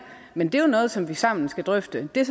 men det er jo noget som vi sammen skal drøfte det